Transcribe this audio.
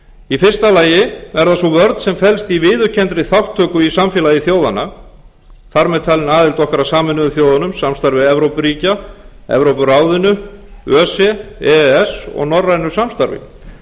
í fyrsta lagi er það sú vörn sem felst í viðurkenndri þátttöku í samfélagi þjóðanna þar með talinni aðild okkar að sameinuðu þjóðunum samstarfi evrópuríkja evrópuráðinu öse e e s og norrænu samstarfi